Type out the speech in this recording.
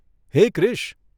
હે ક્રીશ !